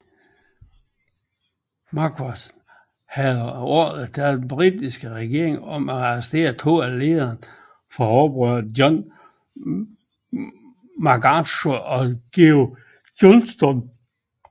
Macquarie havde ordrer fra den britiske regering om at arrestere to af lederne fra oprøret John Macarthur og George Johnston